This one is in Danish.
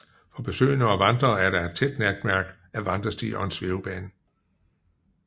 For besøgende og vandrere er der et tæt netværk af vandrestier og en svævebane